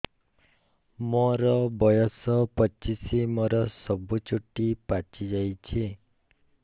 ମୋର ବୟସ ପଚିଶି ମୋର ସବୁ ଚୁଟି ପାଚି ଯାଇଛି